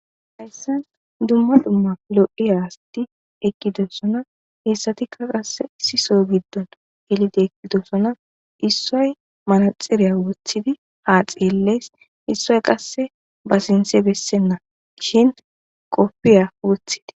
Duma duma lo'iya assati eqidosona hessatikka qassi issi soo gido gelidi eqidosona issoyi manaxiriya wothidi ha xellesi issoyi qassi ba sinthe besena kopiya wothis